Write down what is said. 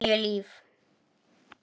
Níu líf.